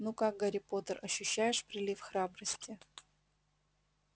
ну как гарри поттер ощущаешь прилив храбрости